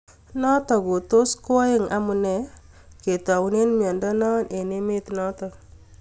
Notok kotos koeng amunee kitaune miondo noo eng emet notok